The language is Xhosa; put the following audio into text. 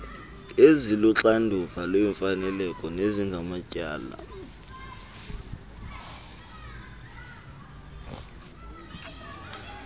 eziluxanduva lemfaneleko nezingamatyala